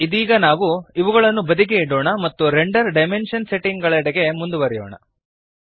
ಇದೀಗ ನಾವು ಇವುಗಳನ್ನು ಬದಿಗೆ ಇಡೋಣ ಮತ್ತು ರೆಂಡರ್ ಡೈಮೆನ್ಶನ್ ಸೆಟ್ಟಿಂಗ್ ಗಳೆಡೆಗೆ ಮುಂದುವರೆಯೋಣ